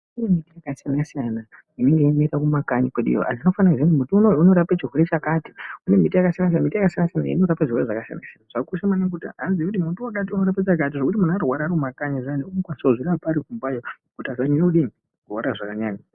Kune miti yakasiyana siyana inenge yeimera kumakanyi kweduyo antu tinofanira kuziya kuti muti unowu unorape chirwere chakati kune miti yakasiyana siyana miti yakasiyana siyana inorapa zvirwere zvakasiyana siyana. Zvakakosha maningi kuti antu aziye kuti muti wakati unorapa chakati ngokuti muntu arwara ari mumakanyi zviyani umokwanisa kutozvirapa ari kumba kuti asanyanya kudii kurwara zvakanyanya.